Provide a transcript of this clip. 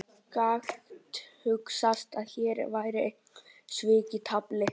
Gat hugsast að hér væru einhver svik í tafli?